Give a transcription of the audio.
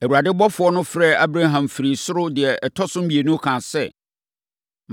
Awurade ɔbɔfoɔ no frɛɛ Abraham firii soro deɛ ɛtɔ so mmienu kaa sɛ,